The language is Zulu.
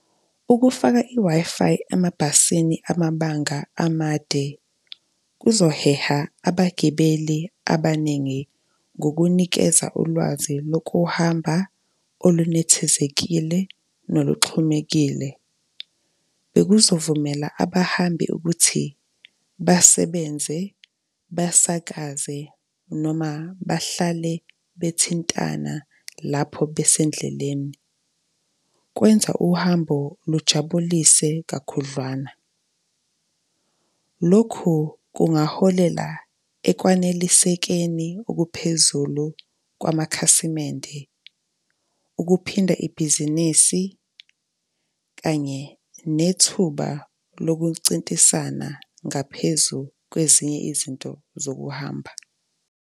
Ukufaka i-Wi-Fi emabhasini amabanga amade, kuzoheha abagibeli abaningi ngokunikeza ulwazi lokuhamba olunethezekile noluxhumekile. Bekuzovumela abahambi ukuthi basebenze, basakaze noma bahlale bethintana lapho besendleleni. Kwenza uhambo lujabulise kakhudlwana. Lokhu kungaholela ekwanelisekeni okuphezulu kwamakhasimende, ukuphinda ibhizinisi kanye nethuba lokucintisana ngaphezu kwezinye izinto zokuhamba.